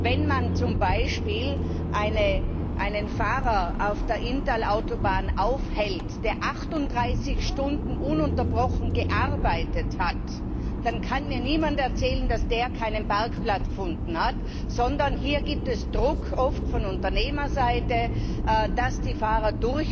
Wenn man zum Beispiel einen Fahrer auf der Inntalautobahn aufhält, der 38 Stunden ununterbrochen gearbeitet hat, dann kann mir niemand erzählen, dass er keinen Parkplatz gefunden hat, sondern hier gibt es oft Druck von Unternehmerseite, dass die Fahrer